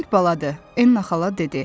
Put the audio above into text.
Qəşəng baladır, Enna xala dedi.